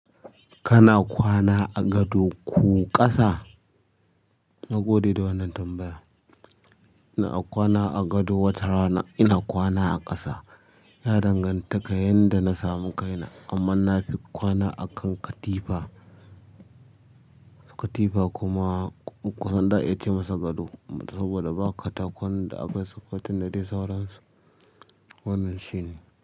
Kana kwana a gado ko ƙasa? Na gode da wannan tambaya. Ina kwana a gado wata rana ina kwana a ƙasa. Ya danganta ka yadda na samu kaina amma nafi kwana a kan katifa. Katifa kuma kusan za'a iuya ce masa gado, saboda ba katakon da aka supporting da dai sauransu. Wannan shine.